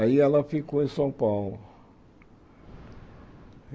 Aí ela ficou em São Paulo.